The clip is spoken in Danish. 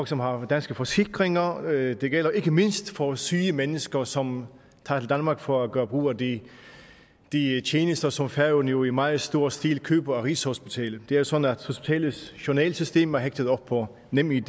som har danske forsikringer og det gælder ikke mindst for syge mennesker som tager til danmark for at gøre brug af de tjenester som færøerne jo i meget stor stil køber af rigshospitalet det er sådan at hospitalets journalsystemer er hægtet op på nemid